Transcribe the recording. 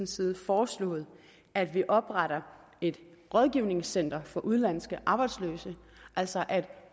side foreslået at vi opretter et rådgivningscenter for udenlandske arbejdsløse altså at